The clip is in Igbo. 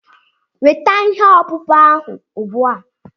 Weta ihe ọkpụkpụ ahụ ugbua!